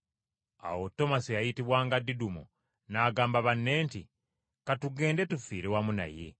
Awo Tomasi eyayitibwanga Didumo n’agamba banne nti, “Ka tugende tufiire wamu naye.”